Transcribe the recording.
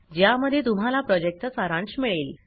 ज्यामध्ये तुम्हाला प्रॉजेक्टचा सारांश मिळेल